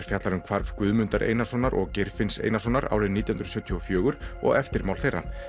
fjallar um hvarf Guðmundar Einarssonar og Geirfinns Einarssonar árið nítján hundruð sjötíu og fjögur og eftirmál þeirra